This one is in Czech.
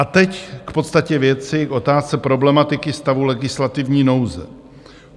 A teď k podstatě věci, k otázce problematiky stavu legislativní nouze.